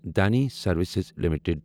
Dhani Services limited